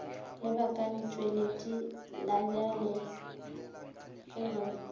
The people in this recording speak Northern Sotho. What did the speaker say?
lebakatšweledi la lebjale ge go